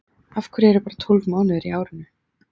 Af hverju eru bara tólf mánuðir í árinu?